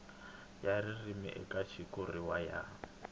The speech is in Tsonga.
ya ririmi eka xitshuriwa ya